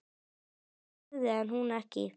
Hann lifði en hún ekki.